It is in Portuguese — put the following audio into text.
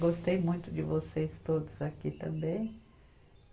Gostei muito de vocês todos aqui também.